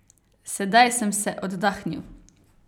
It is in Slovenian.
Sedaj sem se oddahnil.